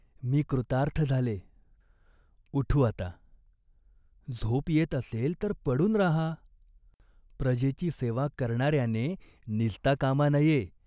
मी कृतार्थ झाले." "उठू आता !" "झोप येत असेल तर पडून राहा." "प्रजेची सेवा करणार्याने निजता कामा नये.